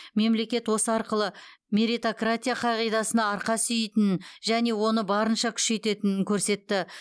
мемлекет осы арқылы меритократия қағидасына арқа сүйейтінін және оны барынша күшейтетінін көрсетті